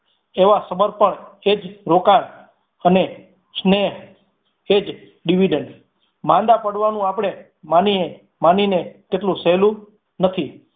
એવા સમર્પણ એજ રોકાણ અને સ્નેહ એજ dividend માંદા પાડવાનું આપણે માનીએ એટલું સહેલું નથી.